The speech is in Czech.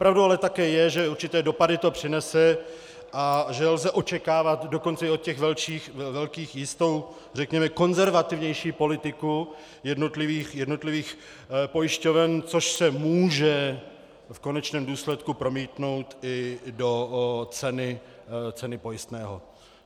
Pravdou ale také je, že určité dopady to přinese a že lze očekávat dokonce i od těch velkých jistou řekněme konzervativnější politiku jednotlivých pojišťoven, což se může v konečném důsledku promítnout i do ceny pojistného.